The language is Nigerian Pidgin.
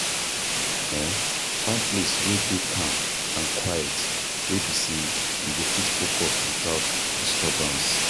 um Find place wey dey calm and quiet wey be sey you go fit focus without disturbance